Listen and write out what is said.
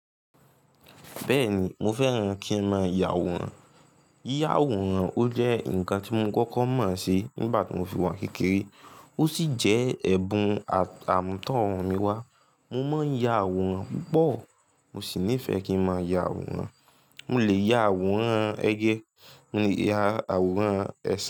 Bẹ́ẹ̀ni, mo fẹ́ràn kí ń máa ya àwòrán. Yíya àwòrán ó jẹ́ ǹkan tí mo kọ́kọ́ mọ̀ ṣe nígbà tí mo fi wà n kékeré ò sí jẹ́ ẹ̀bùn àmútọ̀run mi wá. Mo máa ń ya àwòrán púpọ̀, mo sì nífẹ̀ẹ́ kí ń máa ya àwòrán. Mo lè ya àwòrán ẹyẹ, mo lè ya àwòrán ẹṣin.